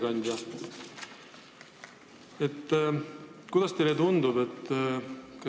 Auväärt ettekandja!